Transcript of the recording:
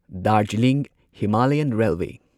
Darjeeling Himalayan railway